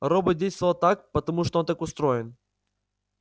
робот действовал так потому что он так устроен